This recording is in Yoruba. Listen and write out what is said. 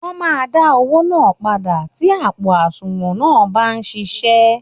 Wọ́n máa dá owó náà padà tí àpò àsunwọ̀n náà bá sì ń ṣiṣẹ́